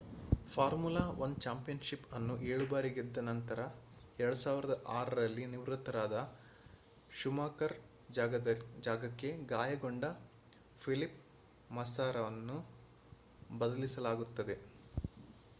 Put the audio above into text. formula 1 championship ಅನ್ನು 7 ಬಾರಿ ಗೆದ್ದ ನಂತರ 2006 ರಲ್ಲಿ ನಿವೃತ್ತರಾದ ಶುಮಾಕರ್ ಜಾಗಕ್ಕೆ ಗಾಯಗೊಂಡ ಫೆಲಿಪ್‌ ಮಾಸ್ಸಾರನ್ನು ಬದಲಿಸಲಾಗುತ್ತದೆ